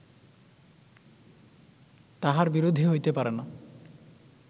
তাঁহার বিরোধী হইতে পারে না